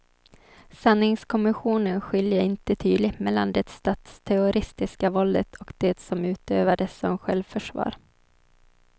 Sanningskommissionen skiljer inte tydligt mellan det statsterroristiska våldet och det som utövades som självförsvar.